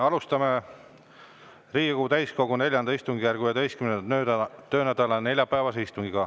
Alustame Riigikogu täiskogu IV istungjärgu 11. töönädala neljapäevast istungit.